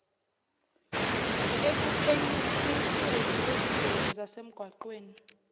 ekuphenyisisweni kwezingozi zasemgwaqeni